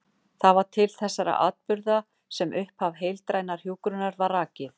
Það var til þessara atburða sem upphaf heildrænnar hjúkrunar var rakið.